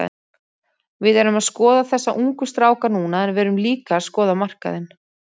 Við erum að skoða þessa ungu stráka núna en við erum líka að skoða markaðinn.